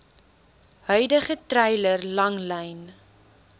huidige treiler langlyn